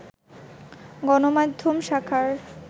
গণমাধ্যম শাখার